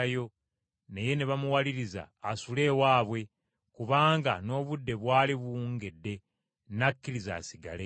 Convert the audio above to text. naye ne bamuwaliriza asule ewaabwe kubanga n’obudde bwali buwungedde. N’akkiriza, asigale.